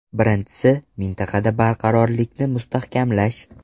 Birinchisi, mintaqada barqarorlikni mustahkamlash.